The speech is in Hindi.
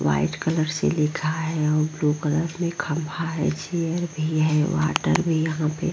व्हाइट कलर से लिखा है और ब्लू में खंभा है चेयर भी है वाटर भी यहां पे --